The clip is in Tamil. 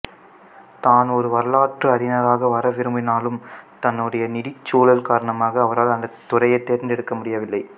தான் ஒரு வரலாற்று அறிஞராக வர விரும்பினாலும் தன்னுடைய நிதிச்சூழல் காரணமாக அவரால் அந்த துறையை தேர்ந்தெடுக்க முடியவில்லை